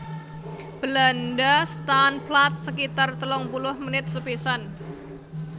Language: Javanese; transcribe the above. Belanda staan plaat sekitar telung puluh menit sepisan